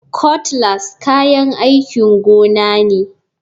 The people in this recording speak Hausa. Cutlass kayan aikin gona ne.